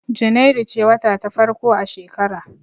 Junairu ce wata ta farko a shekara.